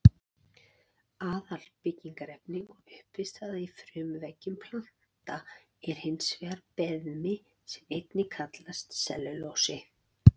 Aðalbyggingarefni og uppistaða í frumuveggjum planta er hins vegar beðmi sem einnig kallast sellulósi.